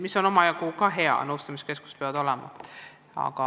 See on tõesti hea – nõustamiskeskused peavad olema.